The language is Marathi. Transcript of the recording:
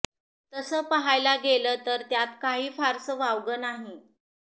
तसं पाहायला गेल तर त्यात काही फारसं वावग नाही